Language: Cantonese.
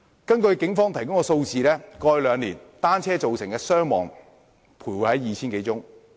根據警方提供的數字，過去兩年，單車造成的傷亡個案徘徊在 2,000 多宗。